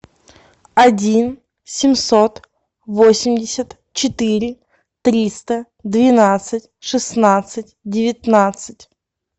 один семьсот восемьдесят четыре триста двенадцать шестнадцать девятнадцать